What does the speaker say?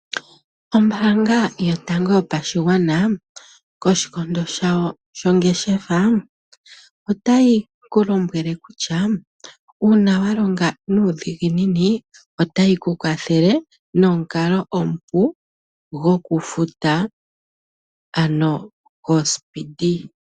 Ombaanga yotango yopashigwana koshikondo shawo shongeshefa otayi ku lombwele kutya uuna wa longa nuudhiginini otayi ku kwathele nomukalo omupu gokufuta ano goSpeedee.